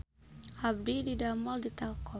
Abdi didamel di Telkom